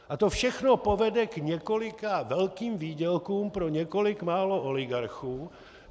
A to všechno povede k několika velkým výdělkům pro několik málo oligarchů.